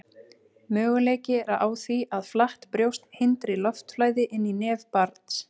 Möguleiki er á því að flatt brjóst hindri loftflæði inn í nef barns.